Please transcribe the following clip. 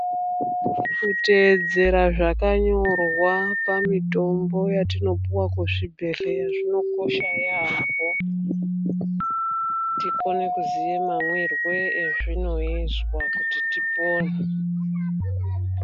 Kuteeedzera zvakanyorwa pamitombo yatinopuwa kuzvibhedhleya zvinokosha yaamho, tikone kuziye mamwirwe ezvinoizwa kuti tipone.